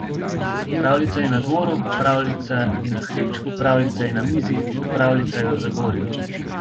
Pravljica je na dvoru, pravljica je na hribčku, pravljica je na mizi, pravljica je v Zagorju.